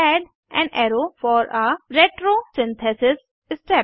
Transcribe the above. add an arrow for a retrosynthesis step